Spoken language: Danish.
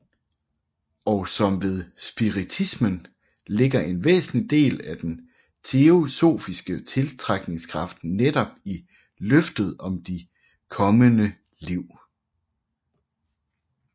Og som ved spiritismen ligger en væsentlig del af den teosofiske tiltrækningskraft netop i løftet om de kommende liv